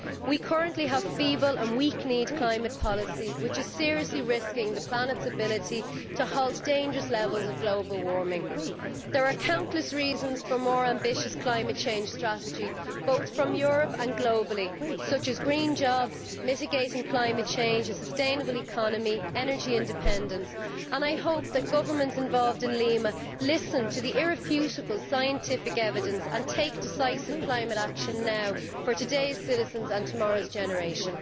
We currently have a feeble and weak kneed climate policy which is seriously risking the planet's ability to halt dangerous levels of global warming. There are countless reasons for more ambitious climate change strategy, both from Europe and globally, such as green jobs, mitigating climate change, a sustainable economy and energy independence, and I hope that governments involved in Lima listen to the irrefutable scientific evidence and take decisive climate action now for today's citizens and tomorrow's generation.